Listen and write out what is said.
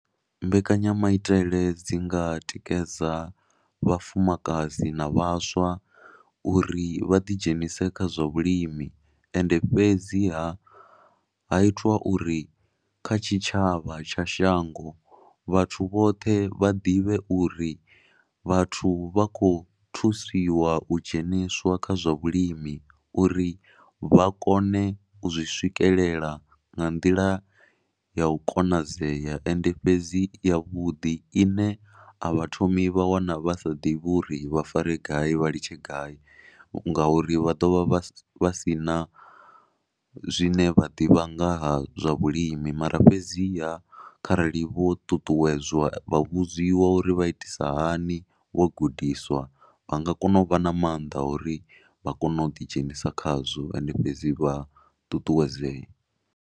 Mbekanyamaitele dzi nga tikedza vhafumakadzi na vhaswa uri vha ḓidzhenise kha zwa vhulimi ende fhedzi ha, ha itwa uri kha tshitshavha tsha shango vhathu vhoṱhe vha ḓivhe uri vhathu vha khou thusiwa u dzheniswa kha zwa vhulimi uri vha kone u zwi swikelela nga nḓila ya u konadzea. Ende fhedzi yavhuḓi ine a vha thomi vha wana vha sa ḓivhi uri vha fare gai vha litshe gai ngauri vha ḓo vha vha vha si na zwine vha ḓivha ngaha zwa vhulimi mara fhedziha kharali vho ṱuṱuwedzwa, vha vhudziwa uri vha itisa hani, vho gudiswa vha nga kona u vha na maanḓa uri vha kone u ḓidzhenisa khazwo ende fhedzi vha ṱuṱuwedzee.